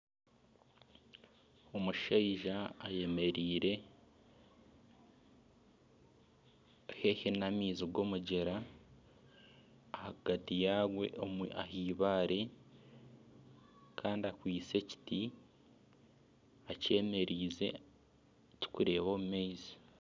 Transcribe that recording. Omushaija ayemereire haihi n'amaizi g'omugyera ahagati yaagwo ah'eibaare kandi akwaitse ekiti, ekyemereize kirikureeba omu maizi